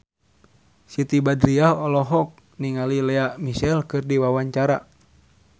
Siti Badriah olohok ningali Lea Michele keur diwawancara